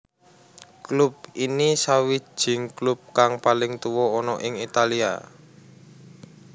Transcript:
Klub ini sawijing klub kang paling tuwa ana ing Italia